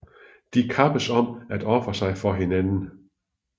De kappes om at ofre sig for hinanden